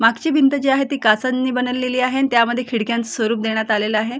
मागची भिंत जी आहे ती काचांनी बनवलेली आहे आणि त्यामध्ये खिडक्यांच स्वरूप देण्यात आलेल आहे.